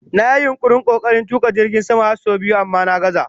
Na yi yunkurin/kokarin tuka jirgin sama har sau biyu amma na gazza